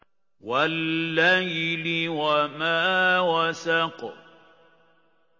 وَاللَّيْلِ وَمَا وَسَقَ